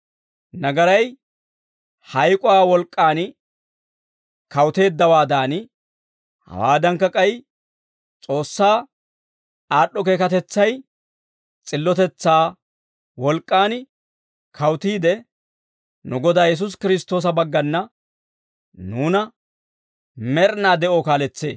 Nagaray hayk'uwaa wolk'k'aan kawuteeddawaadan, hawaadankka k'ay S'oossaa aad'd'o keekatetsay s'illotetsaa wolk'k'aan kawutiide, nu Godaa Yesuusi Kiristtoosa baggana, nuuna med'inaa de'oo kaaletsee.